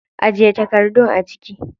Ajiye takardun a ciki.